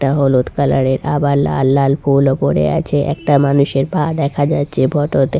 একটা হলুদ কালার এর আবার লাল লাল ফুল ও পড়ে আছে একটা মানুষের পা দেখা যাচ্ছে ফটো তে।